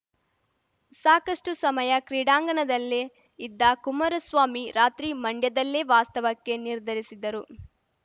ಸಾಕಷ್ಟುಸಮಯ ಕ್ರೀಡಾಂಗಣದಲ್ಲೇ ಇದ್ದ ಕುಮಾರಸ್ವಾಮಿ ರಾತ್ರಿ ಮಂಡ್ಯದಲ್ಲೇ ವಾಸ್ತವಕ್ಕೆ ನಿರ್ಧರಿಸಿದರು